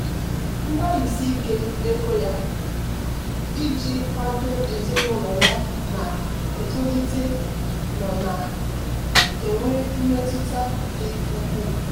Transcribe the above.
mgbalịsi ike nke ego ya iji kwado ezinụlọ ya na-etolite nọ na-enwe mmetụta dị ukwuu.